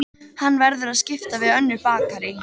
Hann verður að skipta við önnur bakarí.